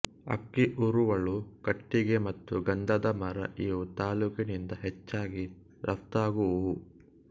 ಅಕ್ಕಿ ಉರುವಲು ಕಟ್ಟಿಗೆ ಮತ್ತು ಗಂಧದ ಮರ ಇವು ತಾಲ್ಲೂಕಿನಿಂದ ಹೆಚ್ಚಾಗಿ ರಫ್ತಾಗುವುವು